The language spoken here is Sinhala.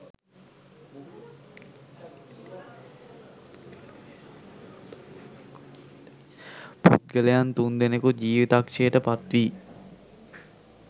පුද්ගලයන් තුන්දෙනෙකු ජිවිතක්ෂයට පත්වී